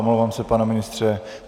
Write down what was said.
Omlouvám se, pane ministře.